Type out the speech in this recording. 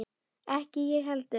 Ekki ég heldur!